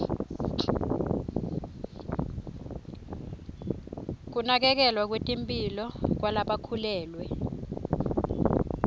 kunakekelwa kwetemphilo kwalabakhulelwe